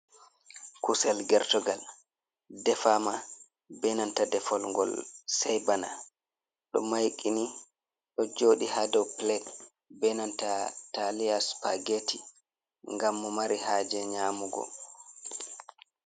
Kusel gertugal defama benanta defol gol sey bana ɗo maiqini ɗo joɗi ha dow plat benanta talia spageti ngam mo mari haje nyamugo.